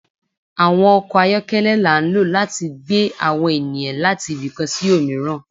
Awọn ọkọ ayọkẹlẹ la n lo lati gbẹ awọn eniyan lati ìbi kan sí omiran